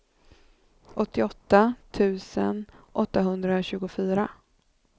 åttioåtta tusen åttahundratjugofyra